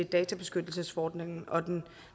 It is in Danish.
databeskyttelsesforordningen og den